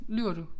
Lyver du